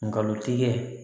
Ngalon tigɛ